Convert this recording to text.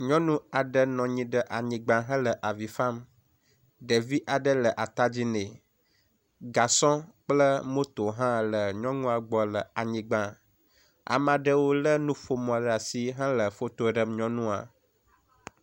Nyɔnu aɖe nɔ anyi ɖe anyigba hele avi fam. Ɖevi aɖe le atadzi nɛ. Gasɔ kple moto hã le nyɔnua gbɔ le anyigba. Ame aɖewo le nuƒomɔ ɖe asi hele foto ɖem nyɔnua.